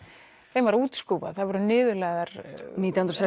þeim var útskúfað þær voru niðurlægðar nítján hundruð